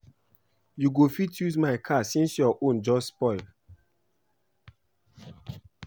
You go fit use my car since your own just spoil